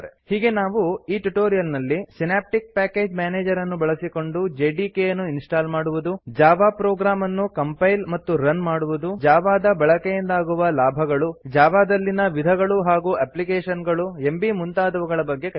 ಹೀಗೆ ನಾವು ಈ ಟ್ಯುಟೋರಿಯಲ್ ನಲ್ಲಿ ಸಿನಾಪ್ಟಿಕ್ ಪ್ಯಾಕೇಜ್ ಮ್ಯಾನೇಜರ್ ಅನ್ನು ಬಳಸಿಕೊಂಡು ಜೆಡಿಕೆ ಯನ್ನು ಇನ್ಸ್ಟಾಲ್ ಮಾಡುವುದು ಜಾವಾ ಪ್ರೊಗ್ರಾಮ್ ಅನ್ನು ಕಂಪೈಲ್ ಮತ್ತು ರನ್ ಮಾಡುವುದು ಜಾವಾ ದ ಬಳಕೆಯಿಂದಾಗುವ ಲಾಭಗಳು ಜಾವಾದಲ್ಲಿನ ವಿಧಗಳು ಹಾಗೂ ಎಪ್ಲಿಕೇಶನ್ ಗಳು ಎಂಬೀ ಮುಂತಾದವುಗಳ ಬಗ್ಗೆ ತಿಳಿದೆವು